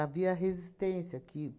resistência aqui.